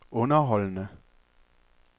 underholdende